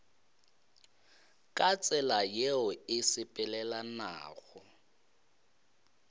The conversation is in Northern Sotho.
ka tsela yeo e sepelelanago